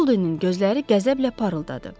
Boldinin gözləri qəzəblə parıldadı.